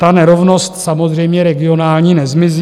Ta nerovnost samozřejmě regionální nezmizí.